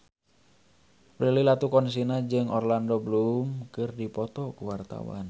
Prilly Latuconsina jeung Orlando Bloom keur dipoto ku wartawan